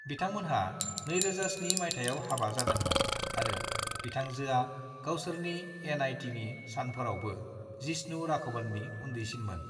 बिथांमोनहा 2007 मायथायाव हाबा जादोंमोन आरो बिथांजोआ गावसोरनि एन.आई.टीनि सानफोरावबो जिष्णु राघवननि उन्दैसिनमोन।